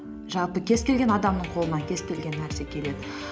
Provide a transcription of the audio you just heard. жалпы кез келген адамның қолынан кез келген нәрсе келеді